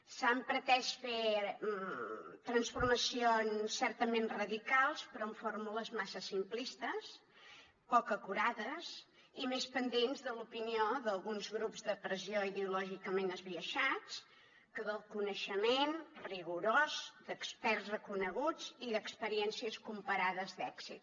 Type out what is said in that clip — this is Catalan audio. s’ha pretès fer transformacions certament radicals però amb fórmules massa simplistes poc acurades i més pendents de l’opinió d’alguns grups de pressió ideològicament esbiaixats que del coneixement rigorós d’experts reconeguts i d’experiències comparades d’èxit